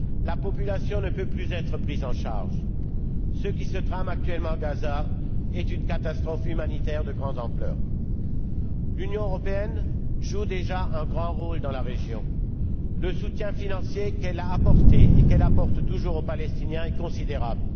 La population ne peut plus être prise en charge. Ce qui se trame actuellement à Gaza est une catastrophe humanitaire de grande ampleur. L'Union européenne joue déjà un grand rôle dans la région. Le soutien financier qu'elle a apporté et qu'elle apporte toujours aux Palestiniens est considérable.